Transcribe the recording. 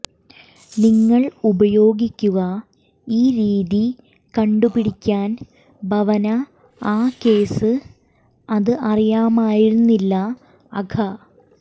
നിങ്ങൾ ഉപയോഗിക്കുക ഈ രീതി കണ്ടുപിടിക്കാൻ ഭവന ആ കേസ് അത് അറിയാമായിരുന്നില്ല അഘ